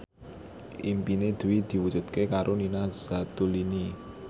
impine Dwi diwujudke karo Nina Zatulini